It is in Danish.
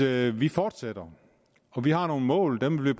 at vi fortsætter vi har nogle mål og dem vil